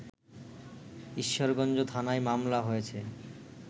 ঈশ্বরগঞ্জ থানায় মামলা হয়েছে